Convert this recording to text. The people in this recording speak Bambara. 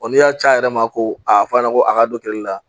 n'i y'a ci a yɛrɛ ma ko a fɔ an ɲɛna ko a ka dɔ kɛli la